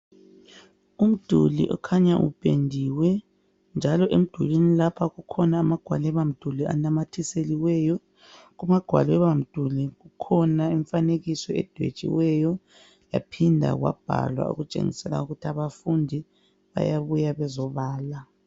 umduli okhanya upendiwe njalo emdulini lapha kukhona amagwaliba mduli anamathiseliweyo kumagwalibamduli kukhona imfanekiso edwetshiweyo yaaphinda kwabhalwa okutshengisa ukuthi abafundi bayabuya bezobala